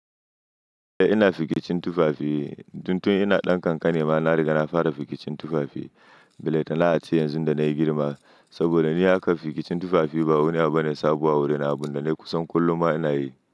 Ina fikicin tufafi. Don tun ina ɗan kankane ma na riga na fara fikicin tufafi. Belatana ace yanzu da na yi girma. Saboda ni harkar fikicin tufafi ba wani abu bane sabo a wurina kusan kullum ma ina yi.